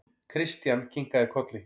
Christian kinkaði kolli.